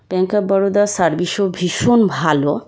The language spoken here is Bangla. ব্যাঙ্ক অফ ব‍‍‍‌‌‌‌‍রোদা সার্ভিস ও ভীষণ ভালো।